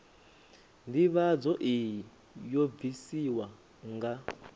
ndivhadzo iyi yo bvisiwa nga